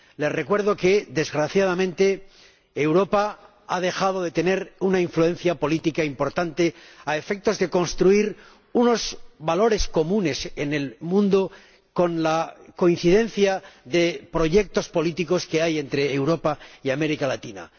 Les recuerdo que, desgraciadamente, Europa ha dejado de tener una influencia política importante a efectos de construir unos valores comunes en el mundo con la coincidencia de proyectos políticos que hay entre Europa y América Latina.